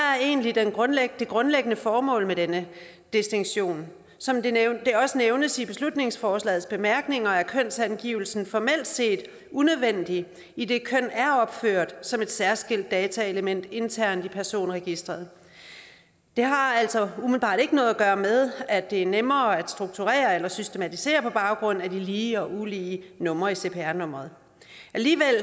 er egentlig det grundlæggende grundlæggende formål med denne distinktion som det også nævnes i beslutningsforslagets bemærkninger er kønsangivelsen formelt set unødvendig idet køn er opført som et særskilt dataelement internt i personregisteret det har altså umiddelbart ikke noget at gøre med at det er nemmere at strukturere eller systematisere på baggrund af de lige og ulige numre i cpr nummeret vi